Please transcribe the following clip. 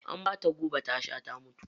An bata guba ta sha ta mutu.